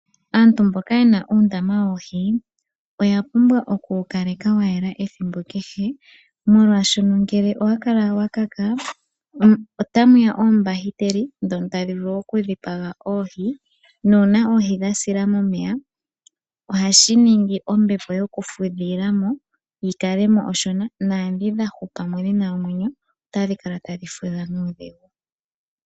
Aantu mboka yena uundama woohi oya pumbwa oku wu kaleka wa yela ethimbo kehe. Molwaashono ngele owa kala wa kaka otamu ya oombahiteli ndhono tadhi vulu oku dhipaga oohi, nuuna oohi dha sila momeya ohashi ningi ombepo yoku fudhila mo, yi kale mo onshona, naadhi dha hupa mo dhina omwenyo otadhi kala tadhi fudha nuudhigu.